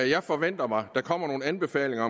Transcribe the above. jeg forventer mig der kommer nogle anbefalinger